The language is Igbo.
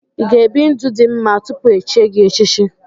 Ị ga-ebi ndụ dị mma tupu echie gị echichi?